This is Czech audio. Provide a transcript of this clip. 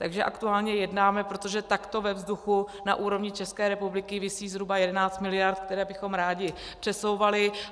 Takže aktuálně jednáme, protože takto ve vzduchu na úrovni České republiky visí zhruba 11 miliard, které bychom rádi přesouvali.